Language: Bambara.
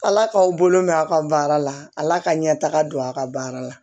Ala k'aw bolo mɛn a ka baara la ala ka ɲɛ taga don a ka baara la